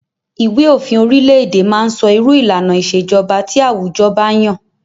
Ìwé òfin orile-èdè má ń sọ irú ìlànà ìṣèjọba tí àwùjọ ba yàn.